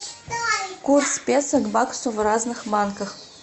курс песо к баксу в разных банках